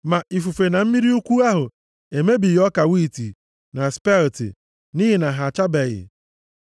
Ma ifufe na mmiri ukwu ahụ emebighị ọka wiiti na spelti, nʼihi na ha achabeghị.